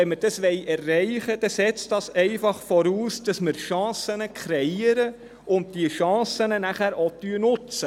Wenn wir diese erreichen wollen, setzt das einfach voraus, dass wir Chancen kreieren und diese Chancen nachher auch nutzen.